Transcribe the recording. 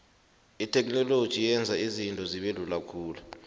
itheknoloji yenza izinto zibelula khulu